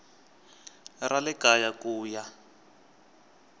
ra le kaya ku ya